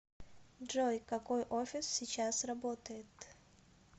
джой какой офис сейчас работает